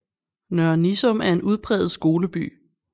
Nørre Nissum er en udpræget skoleby